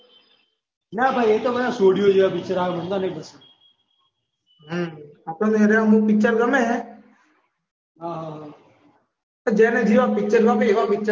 ના ભાઈ એ બધા તો છોડીઓ જેવા પિક્ચર આવે મને તો નઈ ગમતા આપણે એ રહ્યા અમુક પિક્ચર ગમે હ હ હ જેને જેવા પિક્ચર ગમે એવા પિક્ચર